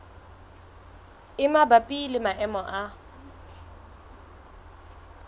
e mabapi le maemo a